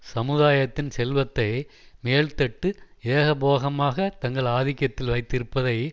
சமுதாயத்தின் செல்வத்தை மேல்தட்டு ஏகபோகமாக தங்கள் ஆதிக்கத்தில் வைத்திருப்பதை